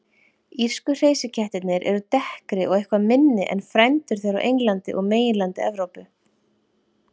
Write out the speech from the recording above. Írsku hreysikettirnir eru dekkri og eitthvað minni en frændur þeirra á Englandi og meginlandi Evrópu.